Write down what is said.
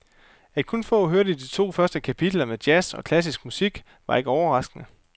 At kun få hørte de to første kapitler med jazz og klassisk musik, var ikke overraskende.